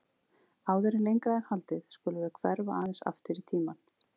Áður en lengra er haldið skulum við hverfa aðeins aftur í tímann.